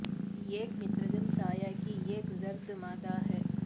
یہ ایک مترجم سایہ کی ایک زرد مادہ ہے